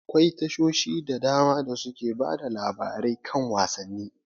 Akwai tashoshin da dama da suke bada labarai kan wasanni.